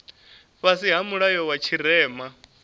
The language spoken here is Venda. fhasi ha mulayo wa tshirema